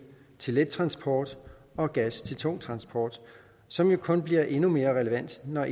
til let transport og gas til tung transport som jo kun bliver endnu mere relevant når